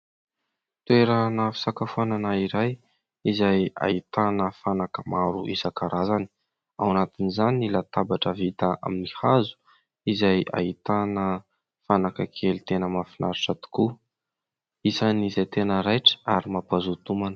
Toerana fisakafoanana iray izay ahitana fanaka maro isankarazany, ao anatin'izany ny latabatra vita amin'ny hazo izay ahitana fanaka kely tena mahafinaritra tokoa. Isan'izay tena raitra ary mampazoto homana.